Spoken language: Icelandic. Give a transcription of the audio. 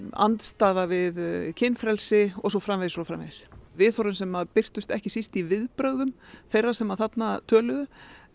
andstaða við kynfrelsi og svo framvegis og svo framvegis viðhorfin sem birtust ekki síst í viðbrögðum þeirra sem þarna töluðu